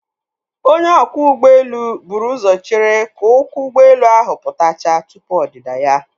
Onye ọkwọ ụgbọelu buru ụzọ chere ka ụkwụ ụgbọelu ahụ pụtachaa tupu ọdịda ya.